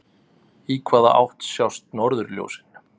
Í hvaða átt sjást norðurljósin?